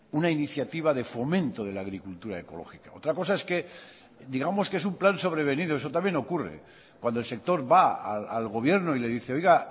una iniciativa de fomento de la agricultura ecológica otra cosa es que digamos que es un plan sobrevenido eso también ocurre cuando el sector va al gobierno y le dice oiga